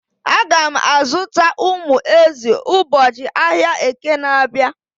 Aga m azụta umu ezi ụbọchị ahịa Eke na-abịa.